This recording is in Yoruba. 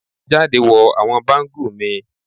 Jade wọ awọn bangle mi